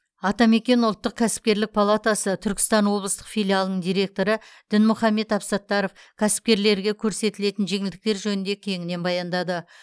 атамекен ұлттық кәсіпкерлік палатасы түркістан облыстық филиалының директоры дінмұхаммед абсаттаров кәсіпкерлерге көрсетілетін жеңілдіктер жөнінде кеңінен баяндады